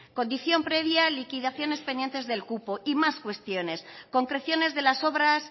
condición previa liquidaciones pendientes del cupo y más cuestiones concreciones de las obras